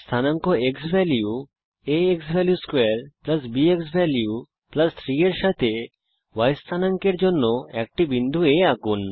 স্থানাঙ্ক x value a xValue2 b x value 3 এর সাথে y স্থানাঙ্ক এর জন্য একটি বিন্দু A আঁকুন